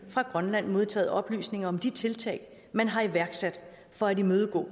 fra grønland modtaget oplysninger om de tiltag man har iværksat for at imødegå